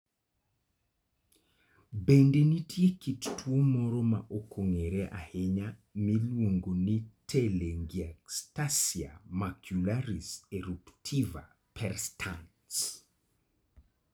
Bende nitie kit tuwo moro ma ok ong'ere ahinya miluongo ni telangiectasia macularis eruptiva perstans.